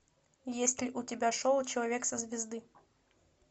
есть ли у тебя шоу человек со звезды